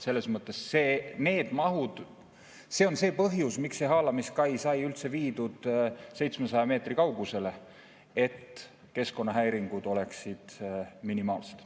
Selles mõttes, mis puutub mahtu, siis see ongi põhjus, miks see haalamiskai sai üldse viidud 700 meetri kaugusele: et keskkonnahäiringud oleksid minimaalsed.